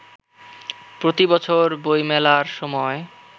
প্রতিবছর বইমেলার সময়